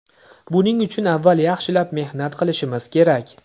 Buning uchun avval yaxshilab mehnat qilishimiz kerak.